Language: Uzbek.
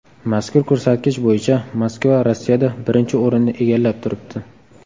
Mazkur ko‘rsatkich bo‘yicha Moskva Rossiyada birinchi o‘rinni egallab turibdi.